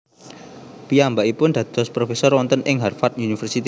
Piyambakipun dados profesor wonten ing Harvard University